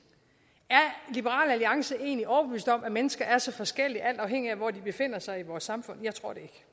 er liberal alliance egentlig overbevist om at mennesker er så forskellige alt afhængig af hvor de befinder sig i vores samfund jeg tror det